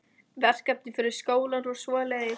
Verkefni fyrir skólann og svoleiðis.